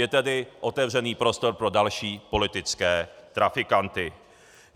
Je tedy otevřený prostor pro další politické trafikanty.